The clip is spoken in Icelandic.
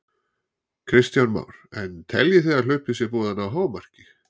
Kristján Már: En teljið þið að hlaupið sé búið að ná hámarki?